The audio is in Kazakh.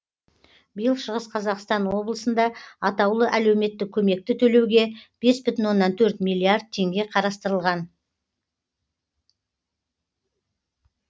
биыл шығыс қазақстан облысында атаулы әлеуметтік көмекті төлеуге бес бүтін оннан төрт миллиард теңге қарастырылған